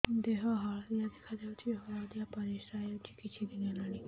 ଦେହ ହଳଦିଆ ଦେଖାଯାଉଛି ହଳଦିଆ ପରିଶ୍ରା ହେଉଛି କିଛିଦିନ ହେଲାଣି